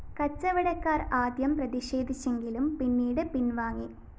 കച്ചവടക്കാര്‍ ആദ്യം പ്രതിഷേധിച്ചെങ്കിലും പിന്നീട് പിന്‍വാങ്ങി